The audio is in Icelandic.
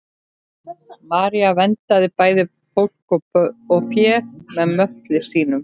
maría verndaði bæði fólk og fé með möttli sínum